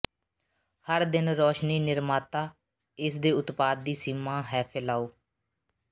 ਹਰ ਦਿਨ ਰੋਸ਼ਨੀ ਨਿਰਮਾਤਾ ਇਸ ਦੇ ਉਤਪਾਦ ਦੀ ਸੀਮਾ ਹੈ ਫੈਲਾਓ